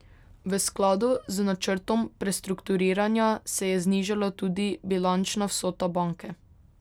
V skladu z načrtom prestrukturiranja se je znižala tudi bilančna vsota banke.